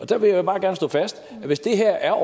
der vil jeg bare gerne slå fast at hvis det her er